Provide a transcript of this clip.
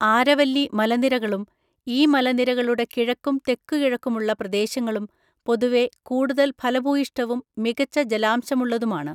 ആരവല്ലി മലനിരകളും ഈ മലനിരകളുടെ കിഴക്കും തെക്കുകിഴക്കുമുള്ള പ്രദേശങ്ങളും പൊതുവെ കൂടുതൽ ഫലഭൂയിഷ്ഠവും മികച്ച ജലാംശമുള്ളതുമാണ്.